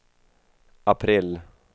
april